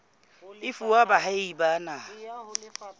e fuwa baahi ba naha